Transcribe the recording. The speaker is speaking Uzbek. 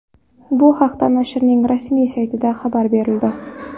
Bu haqda nashrning rasmiy saytida xabar berildi .